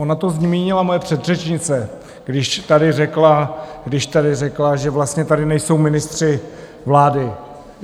Ona to zmínila moje předřečnice, když tady řekla, že vlastně tady nejsou ministři vlády.